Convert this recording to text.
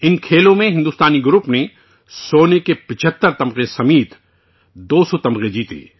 اس مقابلہ میں ہندوستانی ٹیم نے 75 گولڈ میڈل سمیت 200 تمغے جیتے